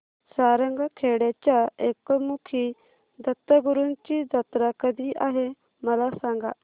सारंगखेड्याच्या एकमुखी दत्तगुरूंची जत्रा कधी आहे मला सांगा